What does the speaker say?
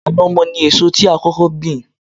Ànàmọ́ ni èso tí a kọ́kọ́ gbìn